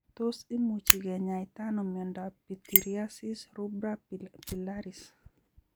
Tos imuchi kinyaita ano miondop pityriasis rubra pilaris?